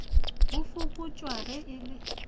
go fokotšwa ge e le